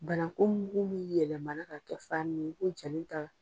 Bananku mugu min yɛlɛmana ka kɛ farini ye i b'o jalen ta